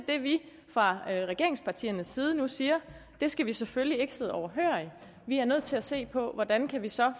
at vi fra regeringspartiernes side nu siger det skal vi selvfølgelig ikke sidde overhørig vi er nødt til at se på hvordan vi så